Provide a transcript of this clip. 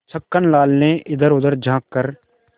छक्कन लाल ने इधरउधर झॉँक कर